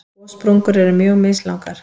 Gossprungur eru mjög mislangar.